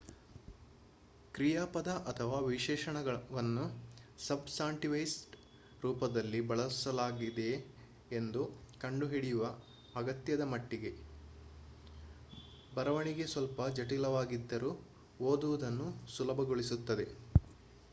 ಕ್ರಿಯಾಪದ ಅಥವಾ ವಿಶೇಷಣವನ್ನು ಸಬ್‌ಸಾಂಟಿವೈಸ್ಡ್ ರೂಪದಲ್ಲಿ ಬಳಸಲಾಗಿದೆಯೆ ಎಂದು ಕಂಡುಹಿಡಿಯುವ ಅಗತ್ಯದ ಮಟ್ಟಿಗೆ ಬರವಣಿಗೆ ಸ್ವಲ್ಪ ಜಟಿಲವಾಗಿದ್ದರೂ ಓದುವುದನ್ನು ಸುಲಭಗೊಳಿಸುತ್ತದೆ